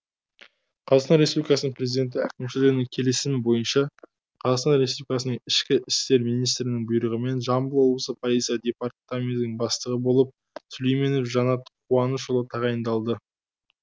қр президенті әкімшілігінің келісімі бойынша қр ішкі істер министрінің бұйрығымен жамбыл облысы полиция департаментінің бастығы болып сүлейменов жанат қуанышұлы тағайындалды